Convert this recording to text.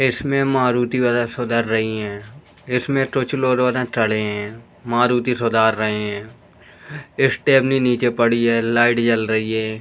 इसमें मारुती वगेरा सुधर रहीं हैं। इसमें थड़े हैं मारुती सुधार रहे हैं। स्टेपनी नीचे पड़ी है। लाइट जल रही है।